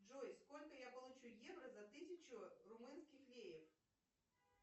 джой сколько я получу евро за тысячу румынских леев